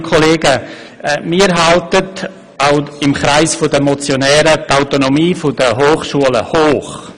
Wir halten auch im Kreis der Motionäre die Autonomie der Hochschulen hoch.